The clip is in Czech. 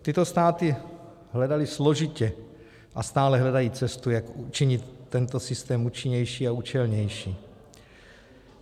Tyto státy hledaly složitě a stále hledají cestu, jak učinit tento systém účinnější a účelnější.